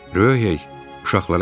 Ryohey uşaqlara səsləndi.